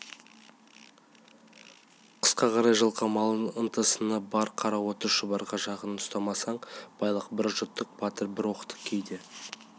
қысқа қарай жылқы малын ықтасыны бар қара отты шұбарға жақын ұстамасаң байлық бір жұттық батыр бір оқтық кейде